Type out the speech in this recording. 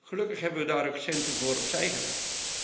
Gelukkig hebben we daar ook centen voor opzijgelegd.